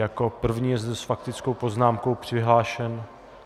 Jako první je zde s faktickou poznámkou přihlášen...